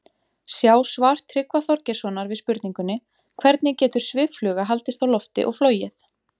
Sjá svar Tryggva Þorgeirssonar við spurningunni Hvernig getur sviffluga haldist á lofti og flogið?